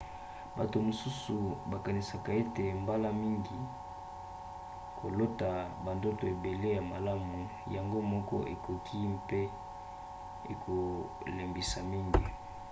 bato mosusu bakanisaka ete mbala mingi kolota bandoto ebele ya malamu yango moko ekoki mpe kolembisa mingi